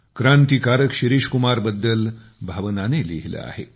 क्रांतिकारक शिरीष कुमार बद्दल भावनाने लिहिले आहे